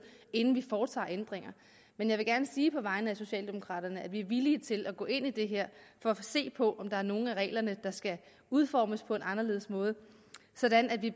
inden vi foretager ændringer men jeg vil gerne sige på vegne af socialdemokraterne at vi er villige til at gå ind i det her for at se på om der er nogle af reglerne der skal udformes på en anderledes måde sådan at vi